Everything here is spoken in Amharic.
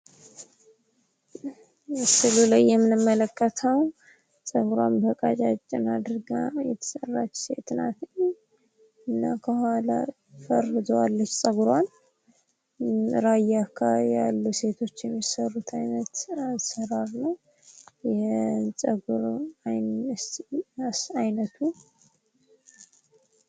ምስሉ ላይ የምንመለከተው ጸጉሯን በቀጫጭን አድርጋ የተሰራች ሴት ናት እና ከኋላ ፈርዛዋለች ጸጉሯን። ራያ አካባቢ ያሉ ሴቶች የሚሰሩት አሰራር ነው አይነቱ።